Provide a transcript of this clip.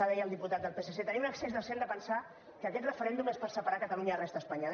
deia el diputat del psc teniu un excés de zel de pensar que aquest referèndum és per separar catalunya de la resta d’espanya